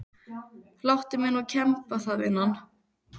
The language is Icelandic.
Láttu mig nú kemba það vinan.